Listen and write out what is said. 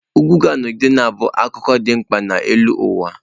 Ugwu ga-anọgide na-abụ akụkụ dị mkpa nke elu ụwa.